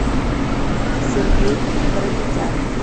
сергей карапетян